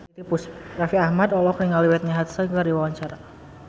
Raffi Ahmad olohok ningali Whitney Houston keur diwawancara